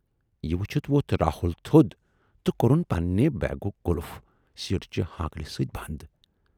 "یہِ وُچھِتھ وۅتھ راہُل تھود تہٕ کورُن پننہِ بیگُک قُلف سیٹہٕ چہِ ہٲنکلہِ سۭتۍ بَند۔